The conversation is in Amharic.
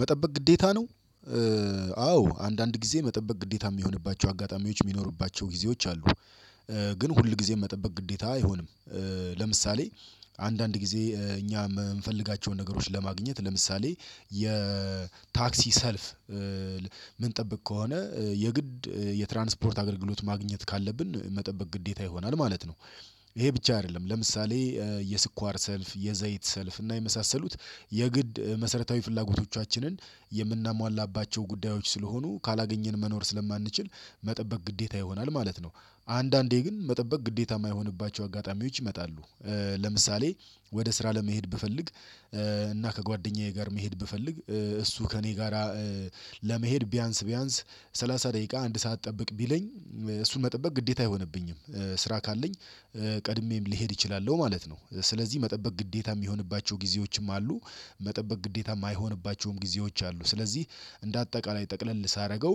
መጠበቅ ግዴታ ነው። አዎ አንዳንድ ጊዜ መጠበቅ ግዴታ የሚሆንባቸው አጋጣሚዎች የሚኖሩባቸው ጊዜዎች አሉ። ግን ሁል ጊዜ መጠበቅ ግዴታ አይሆንም። ለምሳሌ አንዳንድ ጊዜ እኛ የምንፈልጋቸውን ነገሮች ለማግኘት ለምሳሌ የታክሲ ሰልፍ ምንጠብቅ ከሆነ የግድ የትራንስፖርት አገልግሎት ማግኘት ካለብን መጠበቅ ግዴታ ይሆናል ማለት ነው። ይሄ ብቻ አይደለም ለምሳሌ የስኳር ሰልፍ የዘይት ሰልፍ እና የመሳሰሉት የግድ መሰረታዊ ፍላጎቶቻችንን የምናሟላባቸው ጉዳዮች ስለሆኑ ካላገኘን መኖር ስለማንችል መጠበቅ ግዴታ ይሆናል ማለት ነው። አንዳንዴ ግን መጠበቅ ግዴታ ማይሆኑባቸው አጋጣሚዎች ይመጣሉ። ለምሳሌ ወደ ስራ ለመሄድ ብፈልግ እና ከጓደኛዬ ጋር መሄድ ብፈልግ እሱ ከእኔ ጋራ ለመሄድ ቢያንስ ቢያንስ ሰላሳ ደቂቃ አንድ ሰዓት ጠብቅ ቢለኝ እሱን መጠበቅ ግዴታ አይሆንብኝም። ስራ ካለኝ ቀድሜም ሊሄድ እችላለሁ ነው ማለት ነው ስለዚህ መጠበቅ ግዴታ የሚሆንባቸው ጊዜዎችም አሉ። መጠበቅ ግዴታ የማይሆንባቸውም ጊዜዎች አሉ ስለዚህ እንደ አጠቃላይ ጠቅለል ሳደርገው